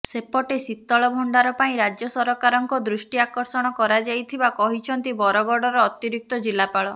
ସେପଟେ ଶୀତଳଭଣ୍ଡାର ପାଇଁ ରାଜ୍ୟ ସରକାରଙ୍କ ଦୃଷ୍ଟି ଆକର୍ଷଣ କରାଯାଇଥିବା କହିଛନ୍ତି ବରଗଡର ଅତିରିକ୍ତ ଜିଲ୍ଲାପାଳ